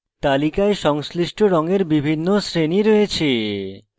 তালিকায় সংশ্লিষ্ট রঙের বিভিন্ন শ্রেণী রয়েছে